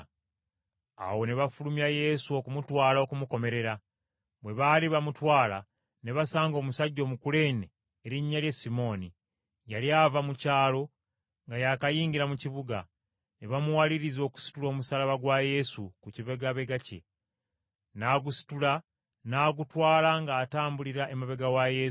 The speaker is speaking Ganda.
Awo ne bafulumya Yesu okumutwala okumukomerera. Bwe baali bamutwala ne basanga omusajja Omukuleene erinnya lye Simooni, yali ava mu kyalo nga yaakayingira mu kibuga, ne bamuwaliriza okusitula omusaalaba gwa Yesu ku kibegabega kye; n’agusitula n’agutwala ng’atambulira emabega wa Yesu.